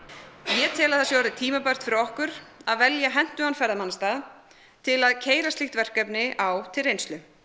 ég tel að það sé orðið tímabært fyrir okkur að velja hentugan ferðamannastað til að keyra slíkt verkefni á til reynslu